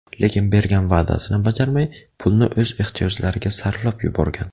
Lekin bergan va’dasini bajarmay, pulni o‘z ehtiyojlariga sarflab yuborgan.